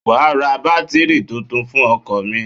Wàá ra bátírì tuntun fún ọkọ̀ mi.